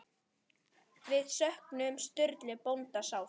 Við söknum Sturlu bónda sárt.